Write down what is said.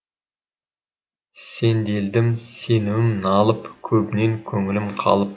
сенделдім сенімім налып көбінен көңілім қалып